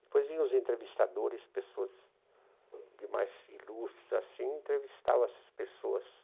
Depois vinham os entrevistadores, pessoas de mais ilustres, assim, entrevistavam essas pessoas.